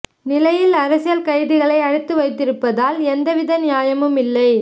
நிலையில் அரசியல் கைதிகளை அடைத்து வைத்திருப்பதில் எந்த வித நியாயமும் இல்லை